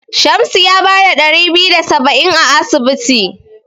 Shamsu ya bada ɗari biyu da saba'in a asibiti.